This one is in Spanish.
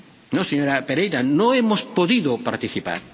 No, señora Pereira, no hemos podido participar.